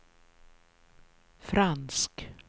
fransk